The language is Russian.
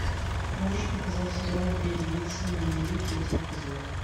можешь показать сериал две девицы на мели третий эпизод